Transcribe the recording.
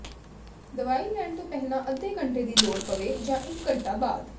ਦਵਾਈ ਲੈਣ ਤੋਂ ਪਹਿਲਾਂ ਅੱਧੇ ਘੰਟੇ ਦੀ ਲੋੜ ਪਵੇ ਜਾਂ ਇਕ ਘੰਟਾ ਬਾਅਦ